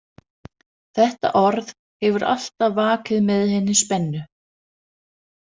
Þetta orð hefur alltaf vakið með henni spennu.